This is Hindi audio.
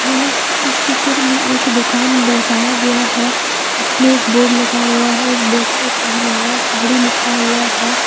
यह इस चित्र में एक दुकान दर्शाया गया है इसमें एक बोर्ड लगा हुआ है उस बोर्ड पर पहनावा साड़ी लिखा हुआ है।